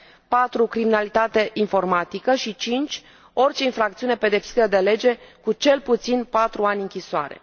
4 criminalitate informatică și 5 orice infracțiune pedepsită de lege cu cel puțin patru ani închisoare.